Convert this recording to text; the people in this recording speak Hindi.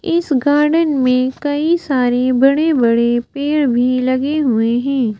इस गार्डन में कई सारे बड़े-बड़े पेड़ भी लगे हुए हैं।